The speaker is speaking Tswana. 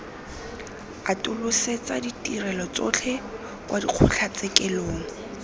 atolosetsa ditirelo tsotlhe kwa dikgotlatshekelong